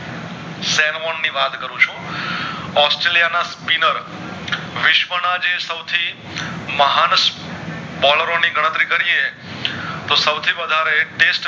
Australia ના Spinir વિશ્વના જે સવથી મહાન બોલેરો ની ગણતરી કરીયે તો સૌ થી વધારે